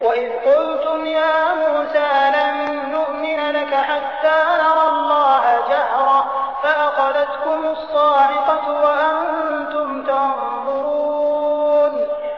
وَإِذْ قُلْتُمْ يَا مُوسَىٰ لَن نُّؤْمِنَ لَكَ حَتَّىٰ نَرَى اللَّهَ جَهْرَةً فَأَخَذَتْكُمُ الصَّاعِقَةُ وَأَنتُمْ تَنظُرُونَ